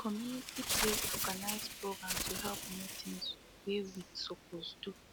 the community place organize program to help know things way we supposed do